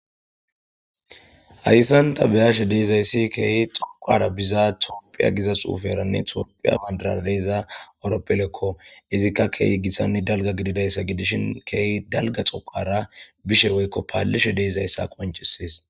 Hayssan ta be'ashe dizayssi keehi xoqqara biza tophphiya giza xuuferanne tophphiya bandirara diza horphileko izikka keehi gitanne dalga gididayssa gidishin keehi dalga xoqqara bishe woykko paliishe de'izayssa qoncises.